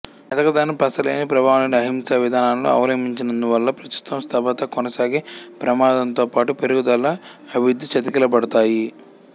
మెతకదనం పసలేని ప్రభావంలేని అహింసావిధానాలను అవలంబించినందువల్ల ప్రస్తుత స్తబ్ధత కొనసాగే ప్రమాదంతోపాటు పెరుగుదల అభివృద్ధి చతికిలబడతాయి